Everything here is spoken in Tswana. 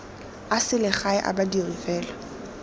a selegae a badiri fela